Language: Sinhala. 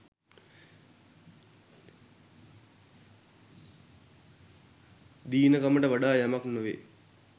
දීනකමට වඩා යමක් නොවේ